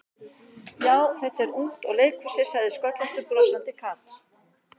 Já, þetta er ungt og leikur sér sagði sköllóttur brosandi karl.